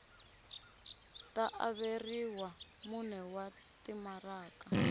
ta averiwa mune wa timaraka